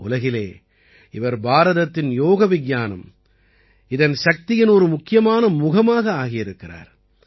உலகிலே இவர் பாரதத்தின் யோக விஞ்ஞானம் இதன் சக்தியின் ஒரு முக்கியமான முகமாக ஆகியிருக்கிறார்